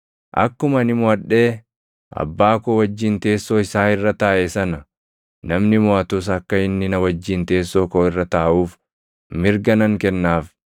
Akkuma ani moʼadhee Abbaa koo wajjin teessoo isaa irra taaʼe sana, namni moʼatus akka inni na wajjin teessoo koo irra taaʼuuf mirga nan kennaaf.